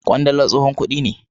kwandala tsohon kudi ne.